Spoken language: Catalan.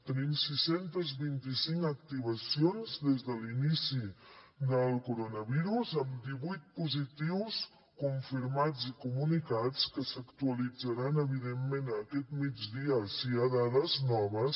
tenim sis cents i vint cinc activacions des de l’inici del coronavirus amb divuit positius confirmats i comunicats que s’actualitzaran evidentment aquest migdia si hi ha dades noves